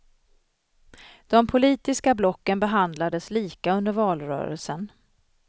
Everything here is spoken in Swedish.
De politiska blocken behandlades lika under valrörelsen.